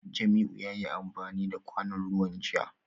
Jamiu yayi amfani da kwanon ruwan jiya